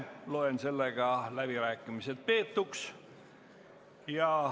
Loen läbirääkimised peetuks.